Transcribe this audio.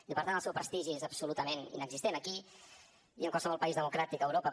i per tant el seu prestigi és absolutament inexistent aquí i en qualsevol país democràtic a europa